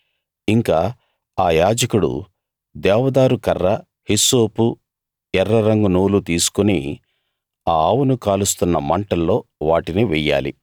ఇంకా ఆ యాజకుడు దేవదారు కర్ర హిస్సోపు ఎర్రరంగు నూలు తీసుకుని ఆ ఆవును కాలుస్తున్న మంటల్లో వాటిని వెయ్యాలి